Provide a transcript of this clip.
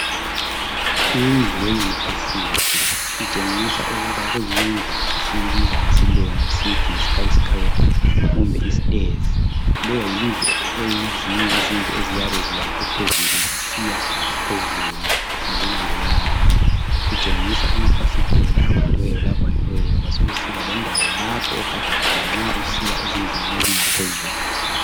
Indlu ye university, itshengisa ukuba kuyindlu esiyibiza ngesilungu sithi yisky scrapper. Kumbe isitezi. Leyo yindlu, eyizinye izindlu eziyabe ziyakhwe phezuli, sisiya phezulu, ngokulandelana. Kutshengisa amafasitela avuliweyo, lavaliweyo. Kwasekusiba lendawo, lapho ogada khona, nxa usiya ezindlini ezingaphezulu.